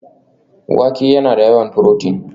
Wake yana da yawan furotin